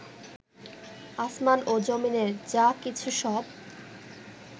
আসমান ও জমিনের যা কিছু, সব